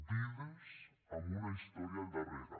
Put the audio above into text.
vides amb una història al darrere